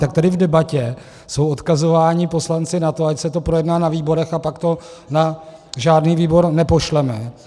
Tak tady v debatě jsou odkazováni poslanci na to, ať se to projedná na výborech, a pak to na žádný výbor nepošleme.